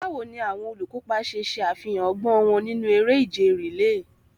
Báwo ni àwọn olùkópa ṣe ṣe àfihàn ọgbọ́n wọn nínú eré ìje rìléè?